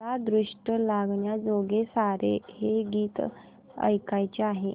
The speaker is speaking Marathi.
मला दृष्ट लागण्याजोगे सारे हे गीत ऐकायचे आहे